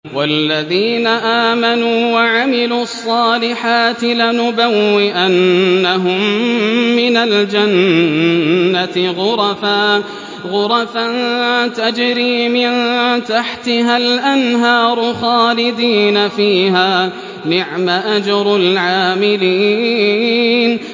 وَالَّذِينَ آمَنُوا وَعَمِلُوا الصَّالِحَاتِ لَنُبَوِّئَنَّهُم مِّنَ الْجَنَّةِ غُرَفًا تَجْرِي مِن تَحْتِهَا الْأَنْهَارُ خَالِدِينَ فِيهَا ۚ نِعْمَ أَجْرُ الْعَامِلِينَ